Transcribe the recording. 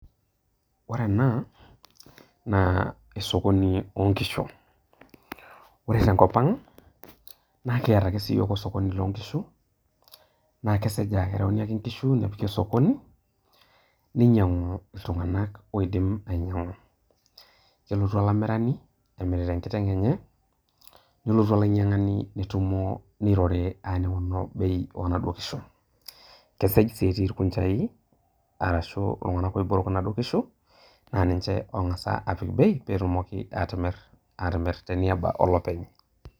Ore ena naa osokoni loonkishu, ore tenkopang' naa kiata ake osokoni loo nkishu. Naa keseja ereuni ake nkishu apiki osokoni ninyiang'u iltung'anak oidim ainyiang'u. Kelotu olamirani emirta enkiteng' enye , nelotu olainyiang'ani , nirori aning'uno bei onaduoo kishu. Kesej sii etii irkunjai arashu iltung'anak oiburuk inaduo kishu , naa ninche ongas apik bei petumoki atimir te niaba olopeny.